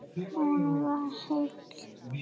Hún var heil.